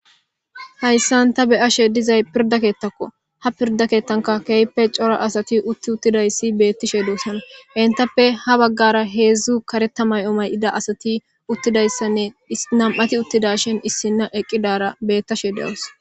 hayssan ta beyashe dizay pirda keettakko ha pirda keettanka keeyppe cora asati utti uttidayssi beettishe duosana hentappe ha baggara heedzdzu kareta may7o may7ida asati uttidayssanne nam7ati uttida shin issinna eqqidara beettashe dewus